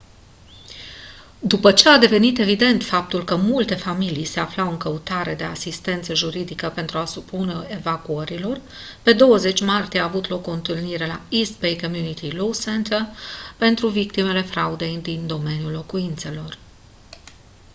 după ce a devenit evident faptul că multe familii se aflau în căutarea de asistență juridice pentru a se opune evacuărilor pe 20 martie a avut loc o întâlnire la east bay community law center pentru victimele fraudei din domeniul locuințelor